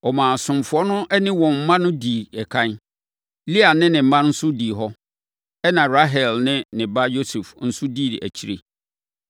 Ɔmaa asomfoɔ no ne wɔn mma dii ɛkan. Lea ne ne mma nso dii hɔ. Ɛnna Rahel ne ne ba Yosef nso dii akyire.